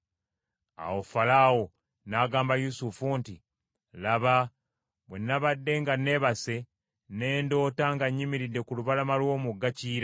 Awo Falaawo n’agamba Yusufu nti, “Laba, bwe nabadde nga nneebase ne ndoota nga nnyimiridde ku lubalama lw’omugga Kiyira;